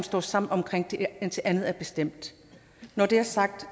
står sammen om det indtil andet er bestemt når det er sagt